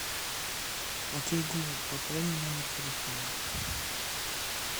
окей гугл пополни номер телефона